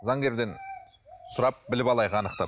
заңгерден сұрап біліп алайық анықтап